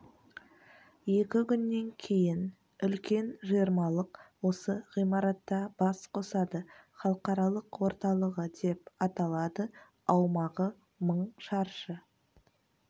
екі күннен кейін үлкен жиырмалық осы ғимаратта бас қосады халықаралық орталығы деп аталады аумағы мың шаршы